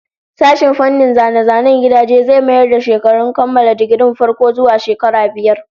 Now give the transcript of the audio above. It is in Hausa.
Sashen fannin zane-zanen gidajen zai mayar da shekarun kammala digirin farko zuwa shekara biyar